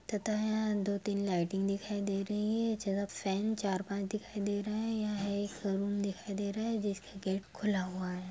तथा यहाँ दो तीन लाइटिंग दिखाई दे रहे है ज्यादा फैन चार पाँच दिखाई दे रहे है एक सलून दिखाई दे रहा है जिसका खुला हुआ है।